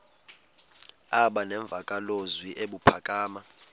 aba nemvakalozwi ebuphakama